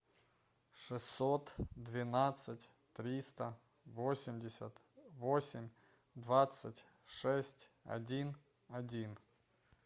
шестьсот двенадцать триста восемьдесят восемь двадцать шесть один один